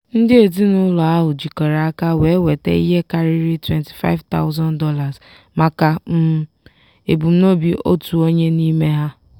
ndị ezinụlọ ahụ jikọrọ aka wee nweta ihe karịrị $25000 maka um ebumnobi otu onye n'ime ha.